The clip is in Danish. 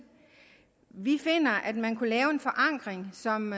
vi finder at man kunne lave en forankring som